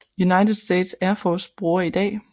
United States Air Force bruger i dag